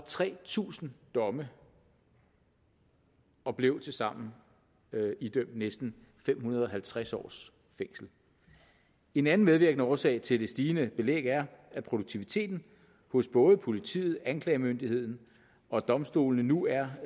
tre tusind domme og blev tilsammen idømt næsten fem hundrede og halvtreds års fængsel en anden medvirkende årsag til det stigende belæg er at produktiviteten hos både politiet anklagemyndigheden og domstolene nu er